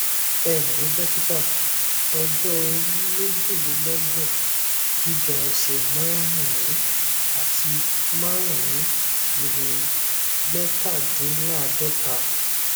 ẹǹlẹ dọkítà ọjọ orí méjìlélọgbọn gíga ẹsẹ márùnún àti márùnún ìwọnmẹtàdínláàádọta